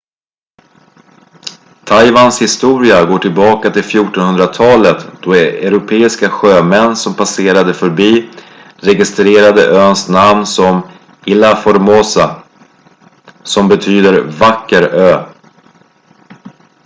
taiwans historia går tillbaka till 1400-talet då europeiska sjömän som passerade förbi registrerade öns namn som ilha formosa som betyder vacker ö